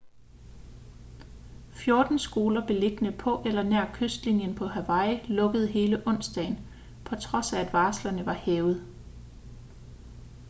fjorten skoler beliggende på eller nær kystlinjen på hawaii lukkede hele onsdagen på trods af at varslerne var hævet